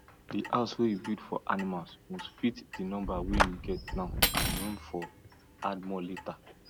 the house wey you build for animals must fit the number wey you get now and room for add more later